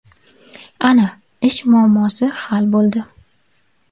Ana, ish muammosi hal bo‘ldi!